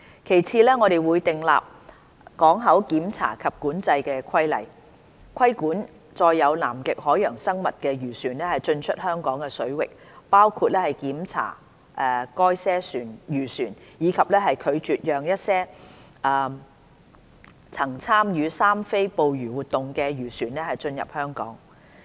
其次，我們會訂立港口檢查及管制規例，規管載有南極海洋生物的漁船進出香港水域，包括檢查該些漁船，以及拒絕讓一些曾參與"三非"捕魚活動的漁船進入香港。